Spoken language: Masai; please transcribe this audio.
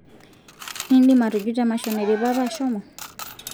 indim atujuto emasho naidipa apa ashomo